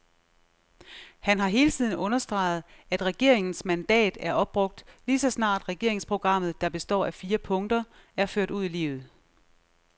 Han har hele tiden understreget, at regeringens mandat er opbrugt lige så snart regeringsprogrammet, der består af fire punkter, er ført ud i livet.